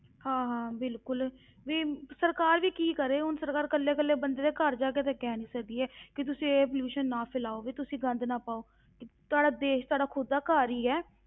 ਹਾਂ ਹਾਂ ਬਿਲਕੁਲ, ਵੀ ਸਰਕਾਰ ਵੀ ਕੀ ਕਰੇ, ਹੁਣ ਸਰਕਾਰ ਇਕੱਲੇ ਇਕੱਲੇ ਬੰਦੇ ਦੇ ਘਰ ਜਾ ਕੇ ਤੇ ਕਹਿ ਨੀ ਸਕਦੀ ਹੈ ਵੀ ਤੁਸੀਂ ਇਹ pollution ਨਾ ਫੈਲਾਓ ਵੀ ਤੁਸੀਂ ਗੰਦ ਨਾ ਪਾਓ ਤੁਹਾਡਾ ਦੇਸ ਤੁਹਾਡਾ ਖੁੱਦ ਦਾ ਘਰ ਹੀ ਹੈ,